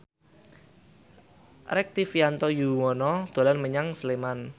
Rektivianto Yoewono dolan menyang Sleman